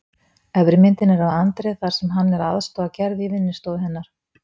Efri myndin er af André þar sem hann er að aðstoða Gerði í vinnustofu hennar.